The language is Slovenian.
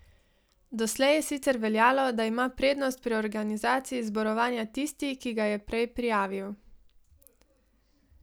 Doslej je sicer veljalo, da ima prednost pri organizaciji zborovanja tisti, ki ga je prej prijavil.